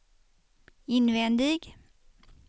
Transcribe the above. invändig